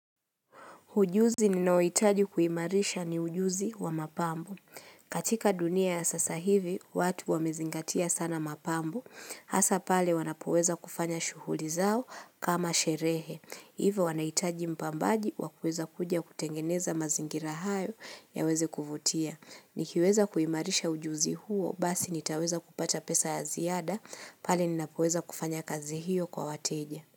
Ujuzi ninaohitaji kuimarisha ni ujuzi wa mapambo. Katika dunia ya sasa hivi, watu wamezingatia sana mapambo. Hasa pale wanapoweza kufanya shuhuli zao kama sherehe. Ivo wanahitaji mpambaji wakuweza kuja kutengeneza mazingira hayo yaweze kuvutia. Nikiweza kuimarisha ujuzi huo, basi nitaweza kupata pesa ya ziada, pale ninapoweza kufanya kazi hiyo kwa wateja.